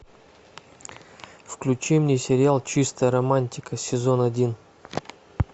включи мне сериал чистая романтика сезон один